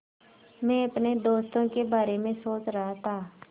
मैं अपने दोस्तों के बारे में सोच रहा था